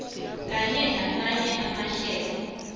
kanye namanye amahlelo